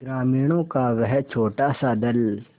ग्रामीणों का वह छोटासा दल